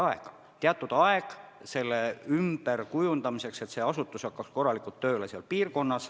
Tuleb anda teatud aeg ümberkujundamiseks, et asutus hakkaks mujal piirkonnas korralikult tööle.